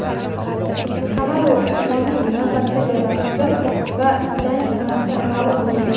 Kamaru Usmonning navbatdagi raqibi va jangi sanasi ma’lum bo‘ldi.